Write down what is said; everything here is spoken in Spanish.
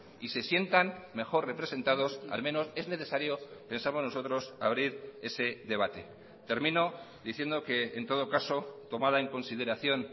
y se sientan mejor representados al menos es necesario pensamos nosotros abrir ese debate termino diciendo que en todo caso tomada en consideración